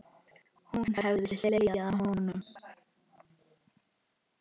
Hún hefði hlegið að honum.